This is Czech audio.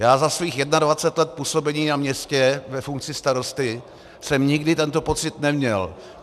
Já za svých 21 let působení na městě ve funkci starosty jsem nikdy tento pocit neměl.